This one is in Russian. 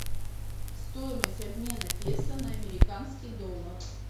стоимость обмена песо на американский доллар